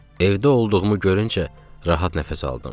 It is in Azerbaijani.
Evdə olduğumu görüncə rahat nəfəs aldım.